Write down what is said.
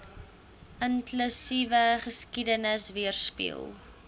inklusiewe geskiedenis weerspieël